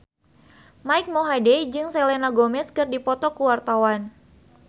Mike Mohede jeung Selena Gomez keur dipoto ku wartawan